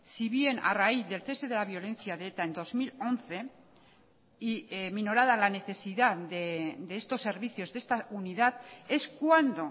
sí bien a raíz del cese de la violencia de eta en dos mil once y minorada la necesidad de estos servicios de esta unidad es cuando